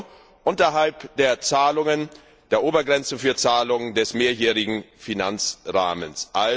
EUR unterhalb der Zahlungen der Obergrenzen für Zahlungen des mehrjährigen Finanzrahmens.